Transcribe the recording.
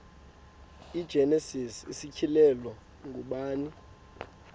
igenesis isityhilelo ngubani